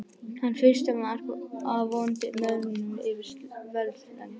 Hans fyrsta mark, af vonandi mörgum, fyrir Völsung!